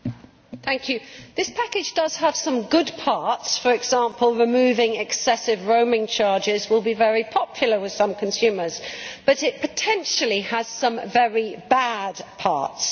Mr President, this package does have some good parts for example, removing excessive roaming charges will be very popular with some consumers but it potentially has some very bad parts.